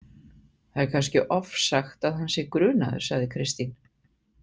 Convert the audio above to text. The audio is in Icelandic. Það er kannski ofsagt að hann sé grunaður, sagði Kristín.